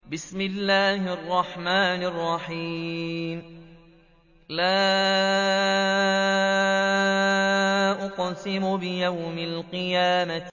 لَا أُقْسِمُ بِيَوْمِ الْقِيَامَةِ